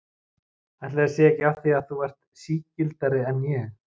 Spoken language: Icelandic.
Ætli það sé ekki af því að þú ert sigldari en ég.